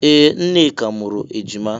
Ee! Nneka mụrụ ejima.